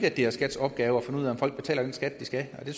at det er skats opgave at finde ud af om folk betaler den skat de skal og det